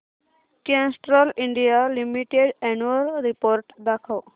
Castrol India limited annual report दाखव